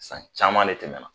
San caman de tɛmɛna.